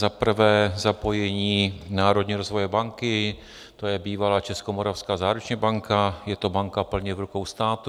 Za prvé zapojení Národní rozvojové banky, to je bývalá Českomoravská záruční banka, je to banka plně v rukou státu.